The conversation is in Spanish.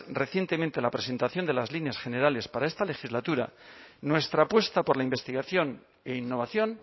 recientemente la presentación de las líneas generales para esta legislatura nuestra apuesta por la investigación e innovación